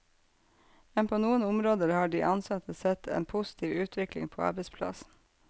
Men på noen områder har de ansatte sett en positiv utvikling på arbeidsplassen.